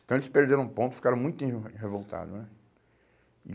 Então eles perderam ponto, ficaram muito revoltados, né?